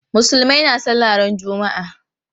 Musulmai na sallah ran juma'a.